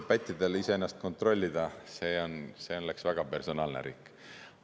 No pättidel iseennast kontrollida, see oleks väga personaalne riik.